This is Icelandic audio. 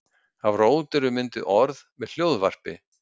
Af rót eru oft mynduð orð með hljóðvarpi.